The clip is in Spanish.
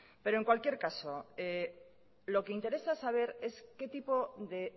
pero en cualquier caso lo que interesa saber es qué tipo de